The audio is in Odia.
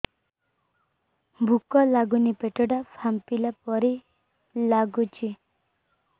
ଭୁକ ଲାଗୁନି ପେଟ ଟା ଫାମ୍ପିଲା ପରି ନାଗୁଚି